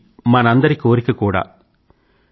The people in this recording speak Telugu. ఇది మనందరి కోరిక కూడా